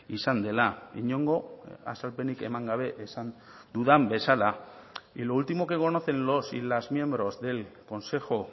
izan dela inongo azalpenik eman gabe esan dudan bezala y lo último que conocen los y las miembros del consejo